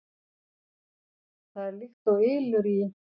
Það er líkt og ylur í